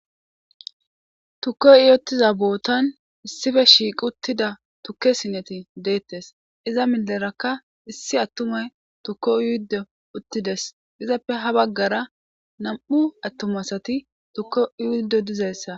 tukko uyottiza bootan issife shiiq uttida tukke sineti deettes iza milerakka issi attumay tukko yuuddo uttides izappe ha baggara nam7u attumasati tukko yuuddo dizayssa